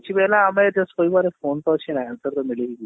କିଛି ବି ହେଲା ଆମେ କହିବାର just phone ତ ଅଛି ନା answer ତ ମିଳି ହିଁ ଯିବ।